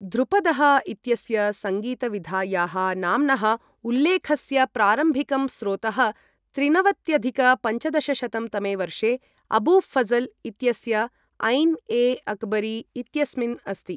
ध्रुपदः इत्यस्य सङ्गीतविधायाः नाम्नः उल्लेखस्य प्रारम्भिकं स्रोतः त्रिनवत्यधिक पञ्चदशशतं तमे वर्षे अबू फ़ज़ल् इत्यस्य ऐन् ए अकबरी इत्यस्मिन् अस्ति।